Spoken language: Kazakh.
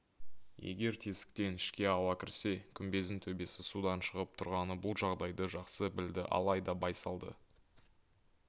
егер тесіктен ішке ауа кірсе күмбездің төбесі судан шығып тұрғаны бұл жағдайды жақсы білді алайда байсалды